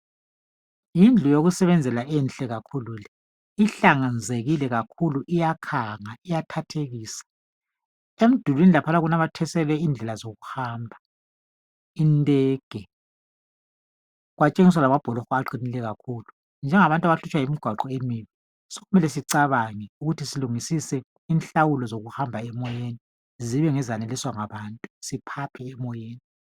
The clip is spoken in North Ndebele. Yindlu yokusebenzela enhle kakhulu le ihlanzekile kakhulu iyakhanga, iyathathekisa. Emdulwini laphana kunanyathiselwe indlela zokuhamba indege kwatshengiswa lamabholoho aqinileyo kakhulu, njengabantu abahlutshwa yimigwaqo emibi sokumele sicabange ukuthi silungisise inhlawulo zokuhamba emoyeni zibe ngezeneliswa ngabantu siphaphe emoyeni.